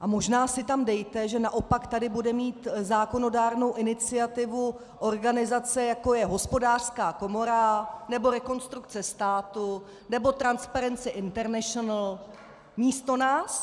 A možná si tam dejte, že naopak tady bude mít zákonodárnou iniciativu organizace, jako je Hospodářská komora nebo Rekonstrukce státu nebo Transparency International místo nás.